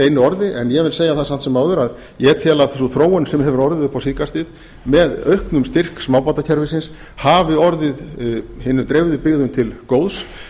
orði en ég vil segja það samt sem áður að ég tel að sú þróun sem hefur orðið upp á síðkastið með auknum styrk smábátakerfisins hafi orðið hinum dreifðu byggðum til góðs